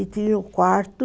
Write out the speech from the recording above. E tinha o quarto...